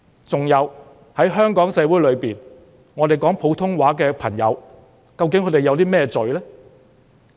此外，在香港社會裏，說普通話的朋友究竟犯了甚麼罪呢？